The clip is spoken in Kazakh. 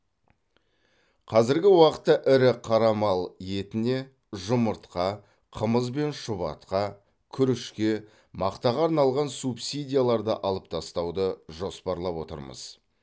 қазіргі уақытта ірі қара мал етіне жұмыртқа қымыз бен шұбатқа күрішке мақтаға арналған субсидияларды алып тастауды жоспарлап отырмыз